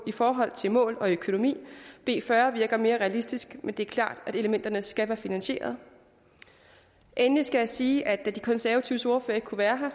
forhold til mål og økonomi b fyrre virker mere realistisk men det er klart at elementerne skal være finansierede endelig skal jeg sige at da de konservatives ordfører ikke kunne være her